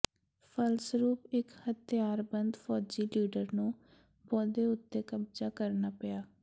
ਫਲਸਰੂਪ ਇਕ ਹਥਿਆਰਬੰਦ ਫੌਜੀ ਲੀਡਰ ਨੂੰ ਪੌਦੇ ਉੱਤੇ ਕਬਜ਼ਾ ਕਰਨਾ ਪਿਆ